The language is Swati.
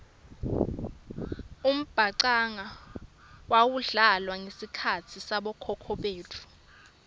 umbhacanga wawudlala ngesikhatsi sabokhokho betfu